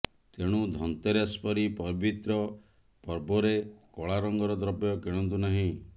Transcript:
ତେଣୁ ଧନତେରସ ପରି ପବିତ୍ର ପର୍ବରେ କଳା ରଙ୍ଗର ଦ୍ରବ୍ୟ କିଣନ୍ତୁ ନାହିଁ